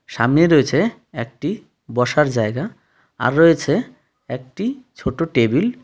সামনেই রয়েছে একটি বসার জায়গা আর রয়েছে একটি ছোট্ট টেবিল .